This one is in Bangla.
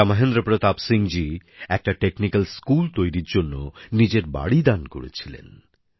রাজা মহেন্দ্র প্রতাপ সিং জি একটা কারিগরি স্কুল তৈরীর জন্য নিজের বাড়ি দান করেছিলেন